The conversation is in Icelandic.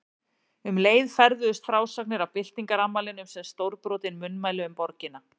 Um leið ferðuðust frásagnir af byltingarafmælinu sem stórbrotin munnmæli um borgina.